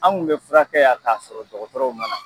Anw kun bɛ furakɛ yan k'a sɔrɔ dɔgɔtɔrɔw ma na!